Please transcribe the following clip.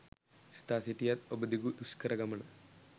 සිතා සිටියත් ඔබ දිගු දුෂ්කර ගමන